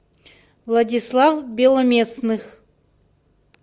владислав беломестных